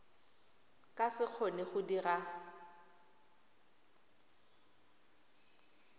ka se kgone go dira